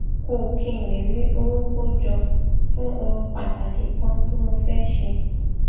kù kí n lè rí owó kójọ fún ohun pàtàkì kan tí mo fé ṣe